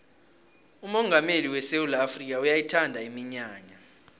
umongameli wesewula afrikha uyayithanda iminyanya